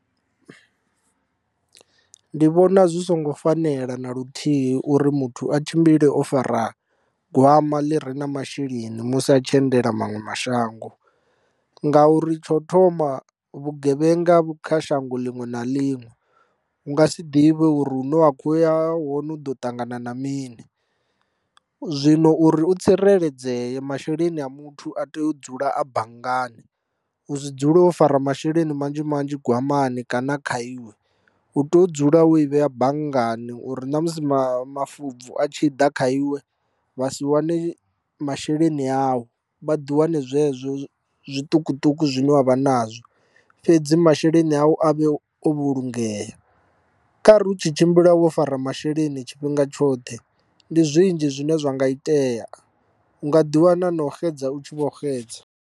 Ndi vhona zwi songo fanela na luthihi uri muthu a tshimbile o fara gwama ḽi re na masheleni musi a tshi endela manwe mashango, ngauri tsho thoma vhugevhenga vhu kha shango ḽiṅwe na ḽiṅwe. U nga si ḓivhe uri hune wa kho ya hone u ḓo ṱangana na mini, zwino uri u tsireledzee masheleni a muthu a tea u dzula a banngani u si dzule o fara masheleni manzhi manzhi gwamani kana a kha iwe. U tea u dzula wo i vhea banngani uri namusi ma mafobvu a tshi ḓa kha iwe vha si wane masheleni awu, vha ḓi wane zwezwo zwiṱukuṱuku zwine wavha nazwo. Fhedzi masheleni awu avhe o vhulungeya. Khari u tshi tshimbila wo fara masheleni tshifhinga tshoṱhe ndi zwinzhi zwine zwa nga itea u nga ḓi wana na u xedza u tshi vho xedza.